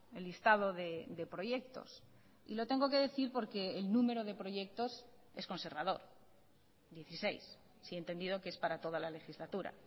el listado de proyectos y lo tengo que decir porque el número de proyectos es conservador dieciséis si he entendido que es para toda la legislatura